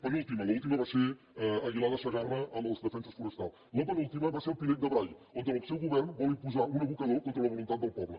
penúltima l’última va ser a aguilar de segarra amb els defenses forestals la penúltima va ser al pinell de brai on el seu govern vol imposar un abocador contra la voluntat del poble